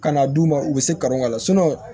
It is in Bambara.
Ka na d'u ma u bɛ se ka kanu ka lasunɔgɔ